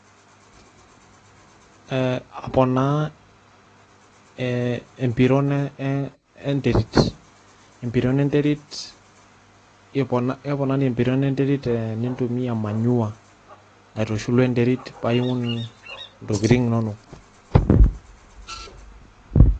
Ee aponaa ee empiron enterit keponari empiron enterit keponari tenintumia manure paa aiun ntokitin inonok.